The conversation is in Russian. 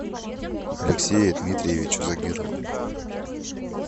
алексею дмитриевичу загирову